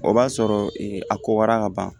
O b'a sɔrɔ a kowara ka ban